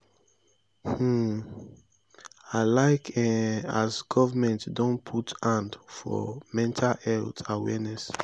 um i like um as government don put hand for mental health awareness.